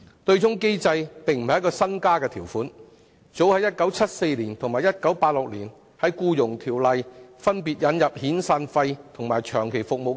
對沖機制並不是一項新安排，《僱傭條例》早於1974年及1986年，分別引入遣散費和長期服務金。